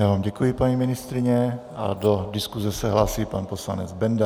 Já vám děkuji, paní ministryně, a do diskuse se hlásí pan poslanec Benda.